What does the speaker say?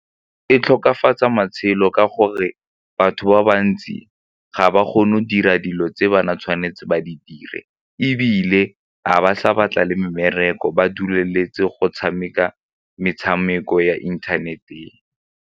E tokafatsa matshelo ka gore batho ba bantsi ga ba kgone go dira dilo tse bana tshwanetse ba di dire ebile ga ba sa batla le mmereko ba duleletse go tshameka metshameko ya internet-eng.